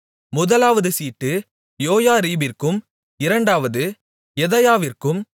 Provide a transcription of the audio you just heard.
முதலாவது சீட்டு யோயாரீபிற்கும் இரண்டாவது யெதாயாவிற்கும்